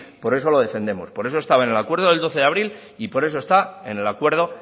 por eso lo defendemos por eso estaba en el acuerdo del doce de abril y por eso está en el acuerdo